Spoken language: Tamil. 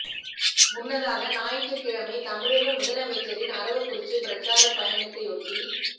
முன்னதாக ஞாயிற்றுக்கிழமை தமிழக முதலமைச்ச ரின் அரவக்குறிச்சி பிரச்சார பயணத்தை ஒட்டி